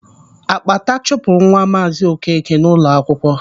Ákpátá chụpụrụ nwa Maazị Okeke n'ụlọ akwụkwọ.